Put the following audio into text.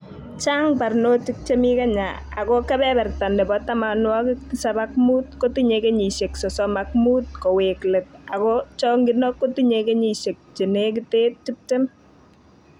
Chang barnotik chemi Kenya ako kebeberta nebo tamanwokik tisab ak muut kotinyei kenyisiek sosom ak muut koweek let ako chong'indo kotinye kenyisiek chenekite tiptem